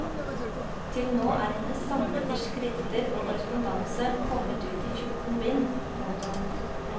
Til nå er hennes samlede skrifter og korrespondanse kommet ut i fjorten bind. punktum